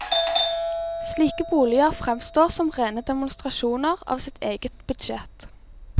Slike boliger fremstår som rene demonstrasjoner av sitt eget budsjett.